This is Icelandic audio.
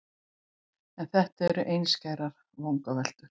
En þetta eru einskærar vangaveltur.